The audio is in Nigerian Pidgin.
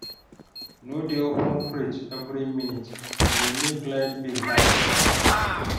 No dey open fridge every minute, e dey make light bill high.